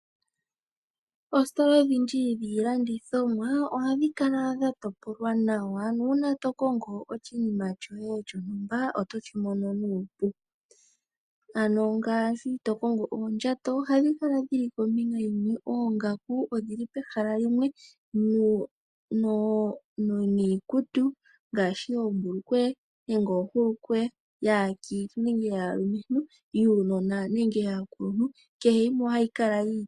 Oositola odhindji dhiilanditjomwa ohadhi kala dha topolwa nawa nuuna to kongo oshinima shoye shontumba otoshi mono nuupu ngaashi to kongo oondjato, oongaku niikutu ngaashi oombulukweya nenge oohulukweya, iikutu yuunona nenge yaakuluntu kehe yimwe otoyi adha yi li pehala limwe.